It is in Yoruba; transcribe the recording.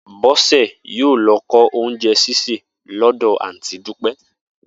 Bó̩sè̩ yóò lo̩ kó̩ oúnje̩ sísè ló̩dò̩ àǹtí Dúpé̩